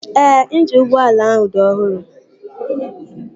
Ee, injini ụgbọala ahụ dị ọhụrụ